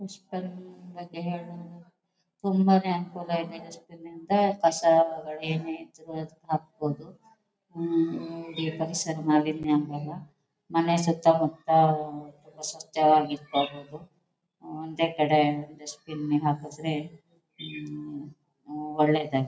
Dustbin ಬಗ್ಗೆ ಹೇಳ್ಬೇಕು ಅಂದ್ರೆ ತುಂಬಾ ನೇ ಅನುಕೂಲ ಇದೆ ಡಸ್ಟ್ಬಿನ್ ನಿಂದ ಕಸಗಳು ಏನಿದ್ರೂ ಅದಕೆ ಹಾಕಬಹುದು. ಹ್ಮ್ಮ್ಮ್ ಈ ಪರಿಸರ ಮಾಲಿನ್ಯ ಆಗಲ್ಲ ಮನೆ ಸುತ್ತಮುತ್ತ ಆಹ್ಹ್ ತುಂಬಾ ಸ್ವಚ್ಛವಾಗಿ ಇಟ್ಕೋಬೇಕು. ಒಂದೇ ಕಡೆ ಡಸ್ಟ್ಬಿನ್ ನಿಗೆ ಹಾಕಿದ್ರೆ ಉಮ್ಮ್ಮ್ ಒಳ್ಳೇದೆ.